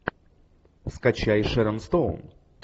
скачай шерон стоун